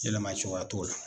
Yɛlɛma cogoya t'o la.